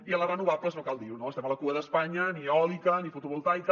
i en les renovables no cal dir ho no estem a la cua d’espanya ni eòlica ni fotovoltaica